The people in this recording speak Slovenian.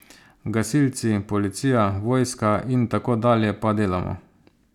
Gasilci, policija, vojska in tako dalje pa delamo.